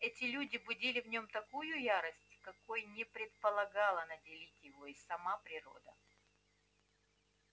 эти люди будили в нём такую ярость какой не предполагала наделить его и сама природа